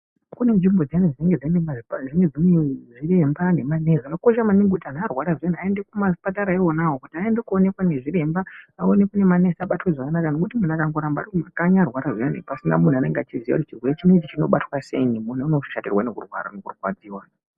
Kune nzvimbo dziyani dzinenge dzine zviremba ne manesi zvakakosha maningi kuti antu arwara zviyani ayende kuma zvipatara iwonawo kuti ayende ko onekwa nge zviremba aonekwe ne manesi abatwe zvakanaka nekuti munhu akango ramba ari ku makanyi arwara zviyani pasina munhu anenge achiziya kuti chirwere chinechi chinobatwa sei munhu uno shatirwa neku rwara neku rwadziwa.